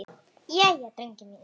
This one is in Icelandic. Jæja, drengir mínir!